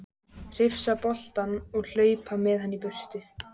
Hrifsa boltann og hlaupa með hann í burtu.